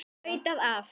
Flautað af.